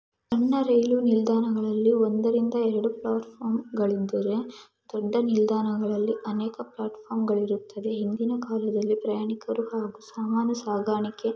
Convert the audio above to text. ಸಣ್ಣ ರೈಲ್ವೆ ನಿಲ್ದಾಣಗಳಲ್ಲಿ ಒಂದರಿಂದ ಎರಡು ಪ್ಲಾಟ್ಫಾರ್ಮ್ ಗಳಿದ್ದರೆ ದೊಡ್ಡ ನಿಲ್ದಾಣಗಳಲ್ಲಿ ಅನೇಕ ಪ್ಲಾಟ್ಫಾರ್ಮ್ ಗಳಿರುತ್ತದೆ ಹಿಂದಿನ ಕಾಲದಲ್ಲಿ ಪ್ರಯಾಣಿಕರು ಹಾಗೂ ಸಾಮಾನು ಸಾಗಾಣಿಕೆ--